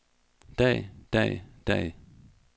dag dag dag